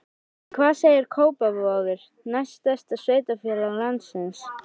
En hvað segir Kópavogur, næst stærsta sveitarfélag landsins?